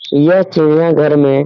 यह चिड़िया घर में --